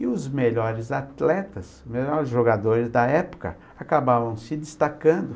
E os melhores atletas, os melhores jogadores da época, acabavam se destacando.